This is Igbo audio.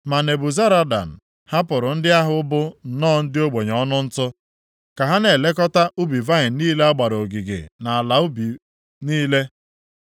Ma Nebuzaradan, hapụrụ ndị ahụ bụ nnọọ ndị ogbenye ọnụ ntụ, + 52:16 Ya bụ ndị dakarịsịrị nʼogbenye ka ha na-elekọta ubi vaịnị niile a gbara ogige na ala ubi niile.